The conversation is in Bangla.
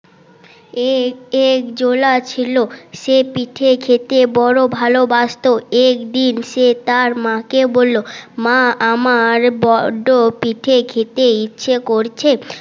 এ এক জোলা ছিল সে পিঠে খেতে বড় ভালোবাসত একদিন সে তার মা কে বললো মা আমার বড্ড পিঠে খেতে ইচ্ছে করছে